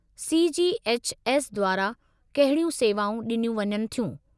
C. G. H. S. द्वारां कहिड़ियूं सेवाऊं डिनियूं वञनि थियूं?